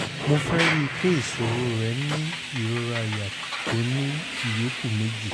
mo rí i pé ìṣòro rẹ ni ìrora àyà tó ní ìyókù méjì